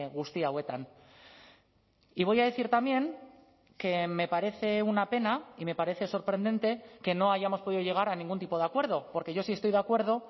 guzti hauetan y voy a decir también que me parece una pena y me parece sorprendente que no hayamos podido llegar a ningún tipo de acuerdo porque yo sí estoy de acuerdo